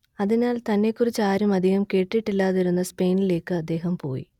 അതിനാൽ തന്നെക്കുറിച്ച് ആരും അധികം കേട്ടിട്ടില്ലാതിരുന്ന സ്പെയിനിലേയ്ക്ക് അദ്ദേഹം പോയി